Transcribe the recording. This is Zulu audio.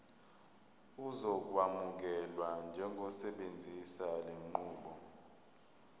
uzokwamukelwa njengosebenzisa lenqubo